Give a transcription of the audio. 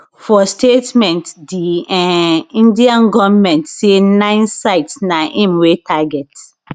for statement di um indian goment say nine sites na im we target